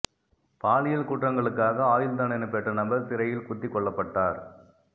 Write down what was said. பாலியல் குற்றங்களுக்காக ஆயுள் தண்டனை பெற்ற நபர் சிறையில் குத்திக் கொல்லப்பட்டார்